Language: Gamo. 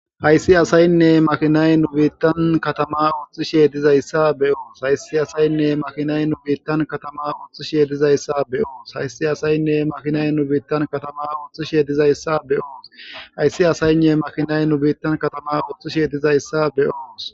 Hayssi asaynne maakinay nu biitan katama ootishe be'os. Hayssi asaynne maakinay nu biitan katama oothishe dizayssa be'os. Hayssi asaynne maakinay nu biitan katama oothishe dizayssa be'os. Hayssi asaynne makinay nu biitan katama oothishe dizayssa be'os.